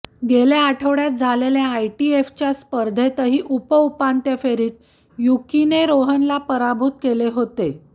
गेल्या आठवड्यात झालेल्या आयटिएफच्या स्पर्धेतही उपउपांत्य फेरीत युकीने रोहनला पराभूत केले होते